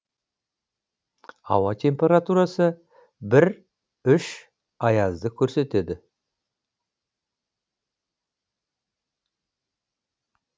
ауа температурасы бір үш аязды көрсетеді